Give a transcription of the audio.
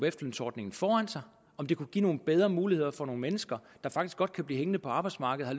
efterlønsordningen foran sig om det kunne give nogle bedre muligheder for nogle mennesker der faktisk godt kunne blive hængende på arbejdsmarkedet og